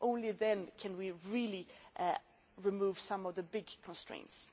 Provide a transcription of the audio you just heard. Only then can we really remove some of the big constraints.